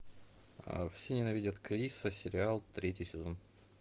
все ненавидят криса сериал третий сезон